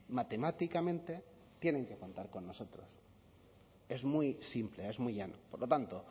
matemáticamente tienen que contar con nosotros es muy simple es muy llano por lo tanto